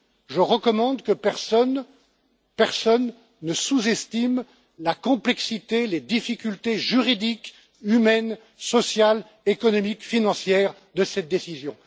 Je recommande que personne, vraiment personne, ne sous estime la complexité, les difficultés juridiques, humaines, sociales, économiques et financières de cette décision.